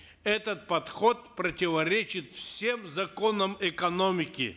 этот подход противоречит всем законам экономики